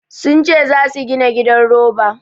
Sun ce za su gina gidan roba.